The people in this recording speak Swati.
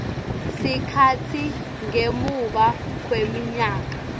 sikhatsi ngemuva kweminyaka